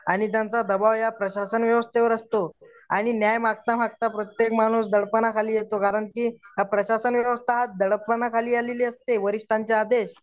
आणि त्यांचा दबाव या प्रशाषण व्यवस्थेवर असतो आणि न्याय मागता मागता प्रत्येक माणूस दडपनाखाली येतो कारण की हा प्रशासन हात दडपणाखाली आलेले असते वरिष्ठांचे आदेश